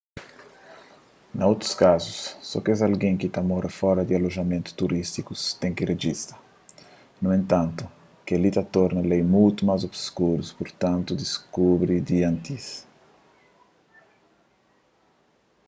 na otus kazus so kes algen ki ta mora fora di alojamentu turístiku ten ki rejista nu entantu kel-li ta torna lei mutu más obskuru purtantu diskubri di antis